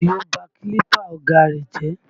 Àdìó ba kílípà ọ̀gá á rẹ̀ jẹ́